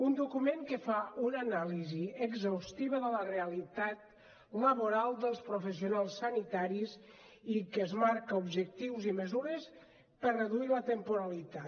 un document que fa una anàlisi exhaustiva de la realitat laboral dels professionals sanitaris i que es marca objectius i mesures per a reduir la temporalitat